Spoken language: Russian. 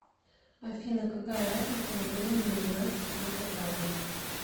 афина какая разница во времени у нас с волгоградом